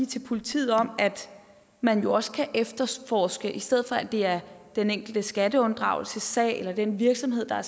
til politiet om at man jo også kan efterforske i stedet for at det er den enkelte skatteunddragelsessag eller den virksomhed der